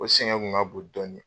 O sɛgɛn kun ka bon dɔɔni.